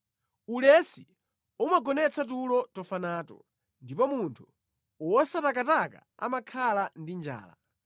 Ulesi umagonetsa tulo tofa nato ndipo munthu wosatakataka amakhala ndi njala.